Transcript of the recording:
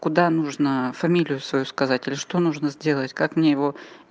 куда нужно фамилию свою сказать или что нужно сделать как мне его